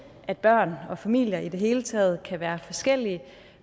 at børn og familier i det hele taget kan være forskellige